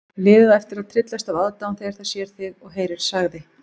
Liðið á eftir að tryllast af aðdáun þegar það sér þig og heyrir sagði